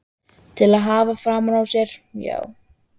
Til að hafa framan á sér, já.